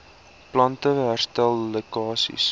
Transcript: plante herstel lekkasies